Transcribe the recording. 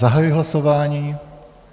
Zahajuji hlasování.